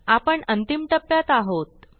आपण अंतिम टप्प्यात आहोत